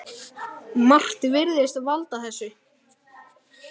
Margt virðist valda þessu.